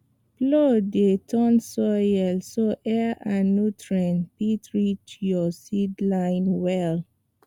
plow dey turn soil so air and nutrients fit reach your seedlings well